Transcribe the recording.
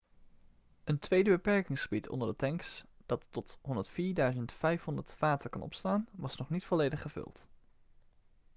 een tweede beperkingsgebied onder de tanks dat tot 104.500 vaten kan opslaan was nog niet volledig gevuld